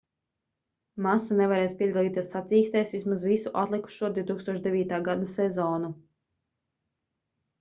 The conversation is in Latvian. masa nevarēs piedalīties sacīkstēs vismaz visu atlikušo 2009. gada sezonu